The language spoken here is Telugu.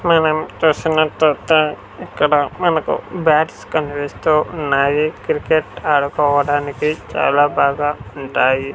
మనం చూస్తున్న చోట ఇక్కడ మనకు బ్యాట్స్ కనిపిస్తూ ఉన్నాయి కిర్కెట్ ఆడుకోవడానికి చాలా బాగా ఉంటాయి.